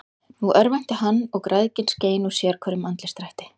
Nú örvænti hann, og græðgin skein úr sérhverjum andlitsdrætti.